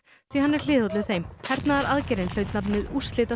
því hann er hliðhollur þeim hernaðaraðgerðin hlaut nafnið